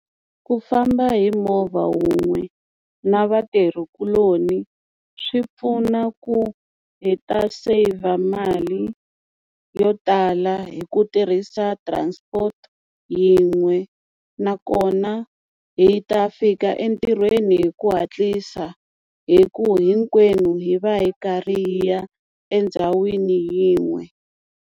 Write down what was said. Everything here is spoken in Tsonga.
Ku famba hi movha wun'we na vatirhikuloni swi pfuna ku hi ta saver mali yo tala hi ku tirhisa transport yin'we nakona hi ta fika entirhweni hi ku hatlisa hi ku hinkwenu hi va hi karhi hi ya endhawini yin'we.